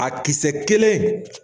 A kisɛ kelen